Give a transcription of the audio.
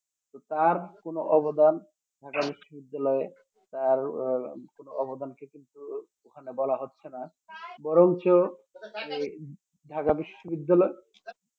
তো তার কোনো অবদান ঢাকা বিশ্ববিদ্যালয়ে তার উহ কোনো অবদানকে কিন্তু ওখানে বলা হচ্ছেনা বরঞ্চ ঢাকা বিশ্ববিদ্যালয়